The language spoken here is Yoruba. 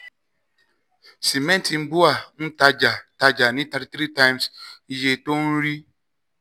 sìmẹ́ntì bua n tajà tajà ní 33x iye tó ń rí.